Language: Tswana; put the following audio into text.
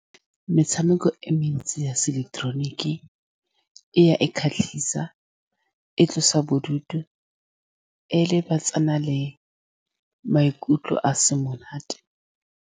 Metshameko e mentsi ya seileketeroniki e ya e kgatlhisa. E tlosa bodutu e lebisana le maikutlo a se monate.